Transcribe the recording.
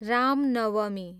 Ram Navami